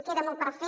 queda molt per fer